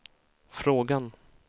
frågan